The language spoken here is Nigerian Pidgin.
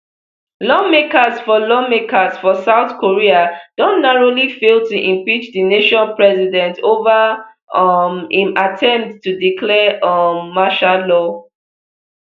lawmakers for lawmakers for south korea don narrowly fail to impeach di nation president over um im attempt to declare um martial law